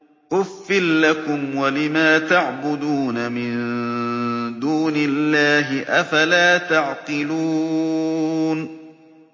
أُفٍّ لَّكُمْ وَلِمَا تَعْبُدُونَ مِن دُونِ اللَّهِ ۖ أَفَلَا تَعْقِلُونَ